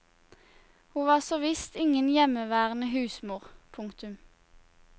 Hun var så visst ingen hjemmeværende husmor. punktum